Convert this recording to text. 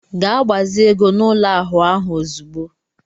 Ga gbazi ego n'ụlọ ahụ ahụ ozugbo!